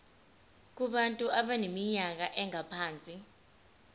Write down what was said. kubantu abaneminyaka engaphansi